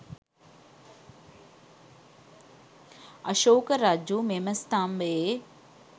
අශෝක රජු මෙම ස්ථම්භයේ